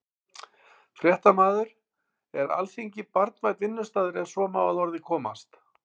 Fréttamaður: Er Alþingi barnvænn vinnustaður, ef svo má að orði komast?